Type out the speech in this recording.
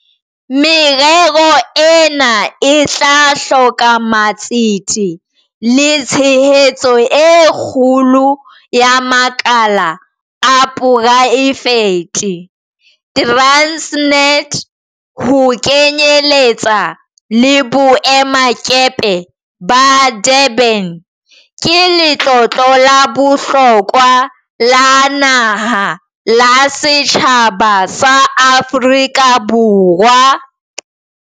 Merero ena e tla hloka matsete le tshehetso e kgolo ya makala a poraefete. Transnet, ho kenyeletsa le boemakepe ba Durban, ke letlotlo la bohlokwa la naha la setjhaba sa Aforika Borwa.